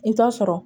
I t'a sɔrɔ